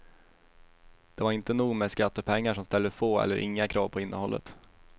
Det var inte nog med skattepengar som ställer få eller inga krav på innehållet.